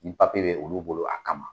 Ni papi ye dɛ tun b'o bolo a kama